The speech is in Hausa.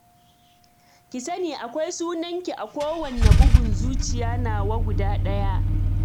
Ki sani, akwai sunanki a kowanne bugun zuciya nawa guda ɗaya